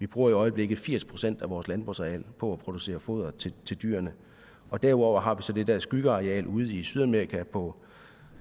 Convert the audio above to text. bruger i øjeblikket firs procent af vores landbrugsareal på at producere foder til dyrene og derudover har vi så det der skyggeareal ude i sydamerika på